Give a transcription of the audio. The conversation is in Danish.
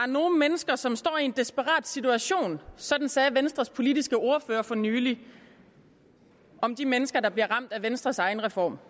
nogle mennesker som står i en desperat situation sådan sagde venstres politiske ordfører for nylig om de mennesker der bliver ramt af venstres egen reform